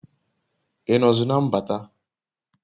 I nozi na mbata?